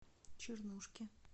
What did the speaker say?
чернушке